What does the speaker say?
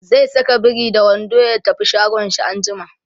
zai Saka biri da wando ya tafi shagon shi anjima